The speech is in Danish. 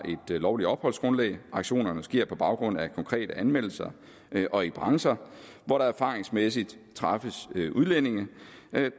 et lovligt opholdsgrundlag aktionerne sker på baggrund af konkrete anmeldelser og i brancher hvor der erfaringsmæssigt træffes udlændinge